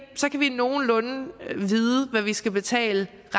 nogenlunde vide hvad de skal betale